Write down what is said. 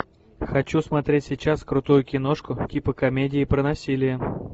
хочу смотреть сейчас крутую киношку типа комедии про насилие